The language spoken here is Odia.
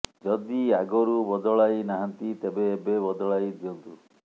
ଯଦି ଆଗରୁ ବଦଳାଇ ନାହାନ୍ତି ତେବେ ଏବେ ବଦଳାଇ ଦିଅନ୍ତୁ